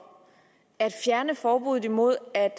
at fjerne forbuddet imod at